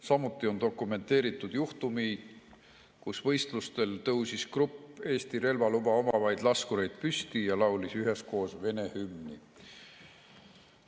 Samuti on dokumenteeritud juhtumeid, kui võistlustel tõusis grupp Eesti relvaluba omavaid laskureid püsti ja laulis üheskoos Vene hümni.